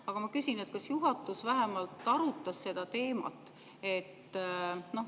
Aga ma küsin, kas juhatus vähemalt arutas seda teemat.